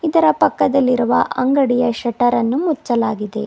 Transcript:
ಇದರ ಪಕ್ಕದಲ್ಲಿರುವ ಅಂಗಡಿಯ ಶಟರ್ ಅನ್ನು ಮುಚ್ಚಲಾಗಿದೆ.